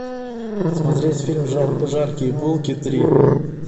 смотреть фильм жаркие булки три